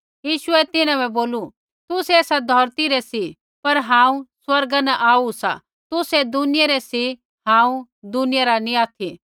यीशुऐ तिन्हां बै बोलू तुसै एसा धौरती रै सी पर हांऊँ स्वर्गा न आऊ सा तुसै दुनिया रै सी हांऊँ दुनिया रा नी ऑथि